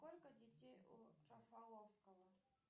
сколько детей у джафаловского